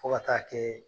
Fo ka taa kɛ